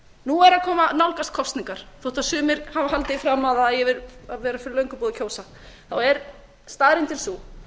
nú er að nálgast kosningar þótt sumir hafi haldið því fram að það eigi að vera fyrir löngu búið að kjósa þá er staðreyndin sú